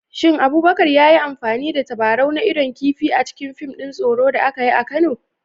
Shin Abubakar ya yi amfani da tabarau na idon kifi a cikin fim ɗin tsoro da aka yi a Kano?